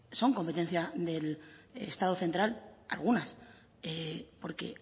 son competencia del estado central algunas porque